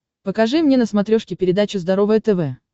покажи мне на смотрешке передачу здоровое тв